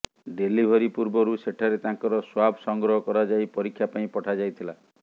delivery ପୂର୍ବରୁ ସେଠାରେ ତାଙ୍କର ସ୍ୱାବ୍ ସଂଗ୍ରହ କରାଯାଇ ପରୀକ୍ଷା ପାଇଁ ପଠାଯାଇଥିଲା